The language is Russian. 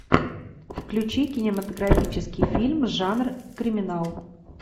включи кинематографический фильм жанр криминал